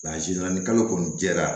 ni kalo kɔni jɛra